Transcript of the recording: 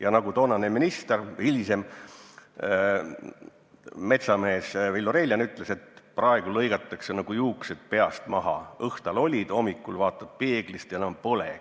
Ja nagu toonane minister, hilisem metsamees Villu Reiljan ütles: praegu lõigatakse nagu juuksed peast maha – õhtal olid, hommikul vaatad peeglist, ja enam polegi.